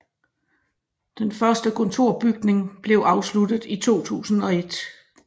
Den første kontorbygning blev afsluttet i 2001